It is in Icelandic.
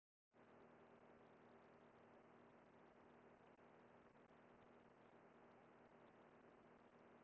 Er, er einhver viðbragðsáætlun hjá ykkur ef að allt fer á versta veg?